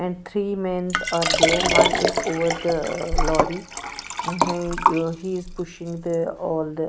and three men's are there one is over the lorry ah he is pushing the all the--